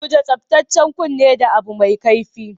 Guji tsabtacen kunni da abu mai kaifi.